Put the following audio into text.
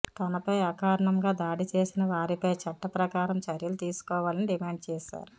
తనపై అకారణంగా దాడి చేసిన వారిపై చట్టప్రకారం చర్యలు తీసుకోవాలని డిమాండ్ చేశారు